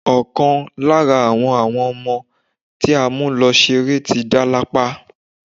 Ọ̀kan lára àwọn àwọn ọmọ tí a mú lọ ṣeré ti dá lápá.